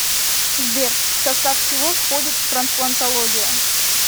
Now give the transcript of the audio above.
сбер в состав чего входит трансплантология